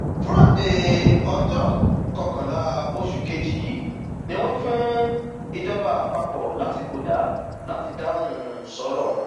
fúrádéé ọjọ um kọkànlá oṣù kejì yìí ni wọn fún um ìjọba àpapọ lásìkò dá láti dáhùn sọrọ wọn